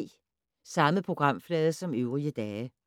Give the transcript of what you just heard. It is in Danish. Samme programflade som øvrige dage